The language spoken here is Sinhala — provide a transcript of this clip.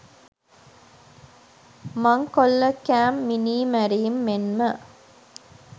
මංකොල්ලකෑම් මිනීමැරීම් මෙන්ම